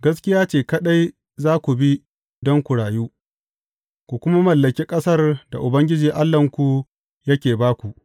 Gaskiya ce kaɗai za ku bi don ku rayu, ku kuma mallaki ƙasar da Ubangiji Allahnku yake ba ku.